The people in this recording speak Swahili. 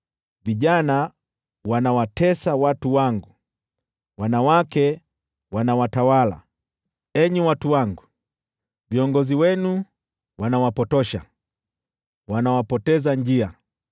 Vijana wanawatesa watu wangu, wanawake wanawatawala. Enyi watu wangu, viongozi wenu wanawapotosha, wanawapoteza njia.